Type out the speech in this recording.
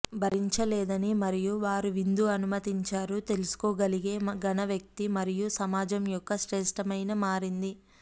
భరించలేదని మరియు వారు విందు అనుమతించారు తెలుసుకోగలిగే ఘన వ్యక్తి మరియు సమాజం యొక్క శ్రేష్టమైన మారింది